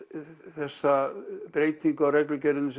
þessa breytingu á reglugerðinni